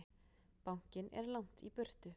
Bankinn er langt í burtu.